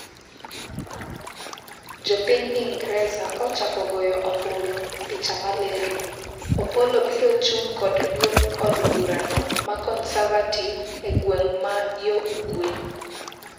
Jopiny Ingreza ochako goyo ombulu ,picha malero, Opollo biro chung' kod duond od burano ma conservative egweng' ma yo ugwe